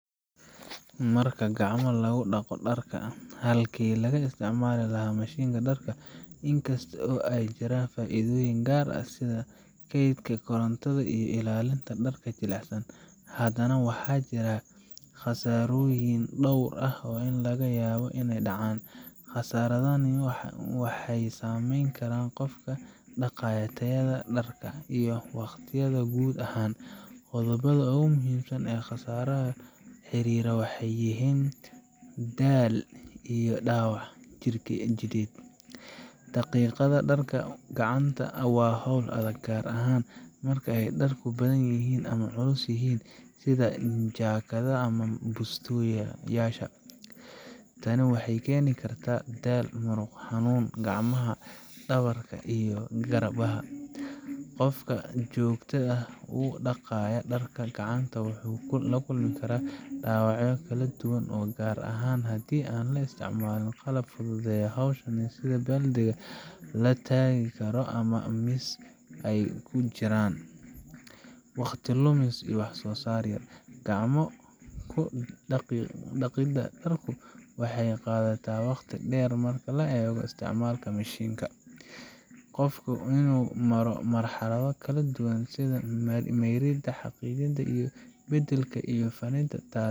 Marka gacmo lagu dhaqo dharka halkii laga isticmaali lahaa mashiinka dharka, inkasta oo ay jiraan faa’iidooyin gaar ah sida kaydka korontada iyo ilaalinta dharka jilicsan, haddana waxaa jira khasaarooyin dhowr ah oo laga yaabo inay dhacaan. Khasaaradahani waxay saameyn karaan qofka dhaqaya, tayada dharka, iyo waqtiyaba guud ahaan. Qodobbada ugu muhiimsan ee khasaaraha la xiriira waxay kala yihiin: Daalk iyo dhaawac jidheed: Dhaqidda dharka gacanta waa hawl adag, gaar ahaan marka ay dharku badan yihiin ama culus yihiin sida jaakadaha ama busteyaasha. Tani waxay keeni kartaa daal muruq, xanuun gacnaha, dhabarka, iyo garbaha. Qofka joogtada ah u dhaqaya dharka gacanta wuxuu la kulmi karaa dhaawacyo kala duwan gaar ahaan haddii aan la isticmaalin qalab fududeeya hawsha sida baaldi la taagi karo ama miis ay ku jiraan. Waqti lumis iyo waxsoosaar yar: Gacmo ku dhaqidda dharku waxay qaadataa waqti dheer marka loo eego isticmaalka mashiinka. Qofka waa inuu maro marxalado kala duwan sida mayridda, xaaqidda, biyo beddelka, iyo firdhinta taas